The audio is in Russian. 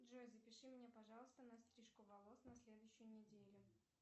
джой запиши меня пожалуйста на стрижку волос на следующую неделю